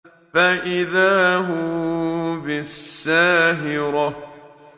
فَإِذَا هُم بِالسَّاهِرَةِ